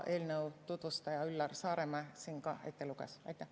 Eelnõu tutvustaja Üllar Saaremäe luges selle siin ka ette.